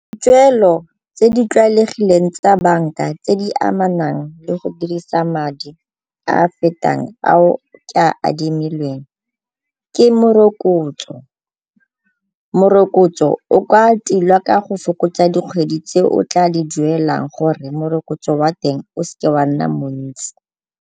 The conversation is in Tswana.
Dipeelo tse di tlwaelegileng tsa banka tse di amanang le go dirisa madi a a fetang ao ke a admilweng ke morokotso. Morokotso o ka tilwa ka go fokotsa dikgwedi tse o tla di duelang gore morokotso wa teng o se ke wa nna montsi.